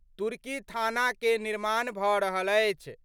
तुर्की थाना के निर्माण भ' रहल अछि।